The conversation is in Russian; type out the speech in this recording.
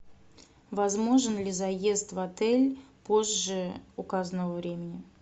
возможен ли заезд в отель позже указанного времени